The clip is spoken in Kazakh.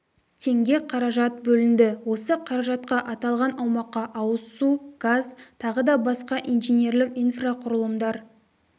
теңге қаражат бөлінді осы қаражатқа аталған аумаққа ауыз су газ тағы да басқа инженерлік инфрақұрылымдар